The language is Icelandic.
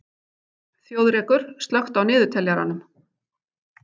Þjóðrekur, slökktu á niðurteljaranum.